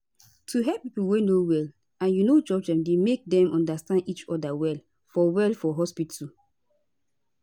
to hear pipo wey no well and u no judge dem dey make dem understand each oda well for well for hospitu